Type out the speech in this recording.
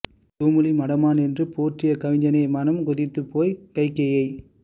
தூமொழி மடமான் என்று போற் றிய கவிஞனே மனம் கொதித்துப் போய் கைகேயியை